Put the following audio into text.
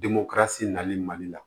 nali mali la